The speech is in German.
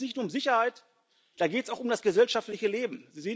Da geht es nicht nur um Sicherheit, da geht es auch um das gesellschaftliche Leben.